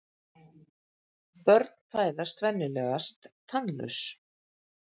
Börn fæðast venjulegast tannlaus.